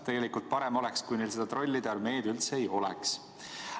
Tegelikult oleks parem, kui neil trollide armeed üldse ei oleks.